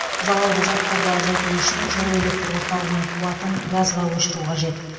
залалды заттарды азайту үшін жылу электр орталығының қуатын газға көшіру қажет